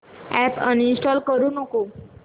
app uninstall करू नको